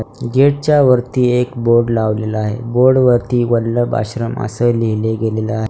Gate च्या वरती एक बोर्ड लावलेला आहे बोर्ड वरती वल्लभ आश्रम असं लिहिले गेलेलं आहे.